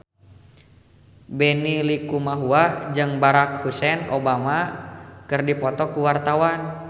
Benny Likumahua jeung Barack Hussein Obama keur dipoto ku wartawan